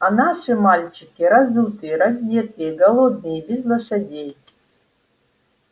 а наши мальчики разутые раздетые голодные без лошадей